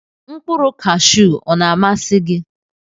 Nkpụrụ kashu ọna amasi gi?